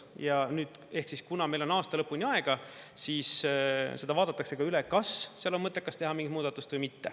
Ja nüüd, kuna meil on aasta lõpuni aega, siis seda vaadatakse üle, kas seal on mõttekas teha mingit muudatust või mitte.